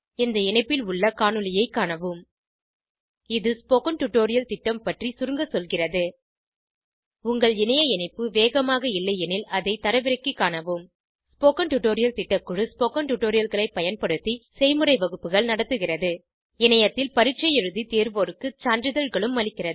இந்த இணைப்பில் உள்ள காணொளியைக் காணவும் இது ஸ்போகன் டுடோரியல் திட்டம் பற்றி சுருங்க சொல்கிறது உங்கள் இணைய இணைப்பு வேகமாக இல்லையெனில் அதை தரவிறக்கிக் காணவும் ஸ்போகன் டுடோரியல் திட்டக்குழு ஸ்போகன் டுடோரியல்களைப் பயன்படுத்தி செய்முறை வகுப்புகள் நடத்துகிறது இணையத்தில் பரீட்சை எழுதி தேர்வோருக்கு சான்றிதழ்களும் அளிக்கிறது